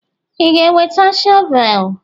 Ị ga-eweta shọvel?